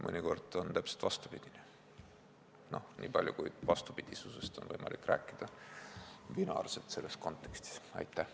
Mõnikord on täpselt vastupidi, niipalju kui vastupidisusest binaarsuse mõttes on selles kontekstis võimalik rääkida.